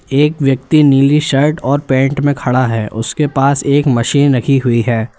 एक व्यक्ति नीली शर्ट और पैंट में खड़ा है उसके पास एक मशीन रखी हुई है।